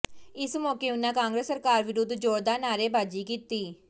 ਇਸ ਮੌਕੇ ਉਨ੍ਹਾਂ ਕਾਂਗਰਸ ਸਰਕਾਰ ਵਿਰੁੱਧ ਜ਼ੋਰਦਾਰ ਨਾਅਰੇਬਾਜ਼ੀ ਕੀਤੀ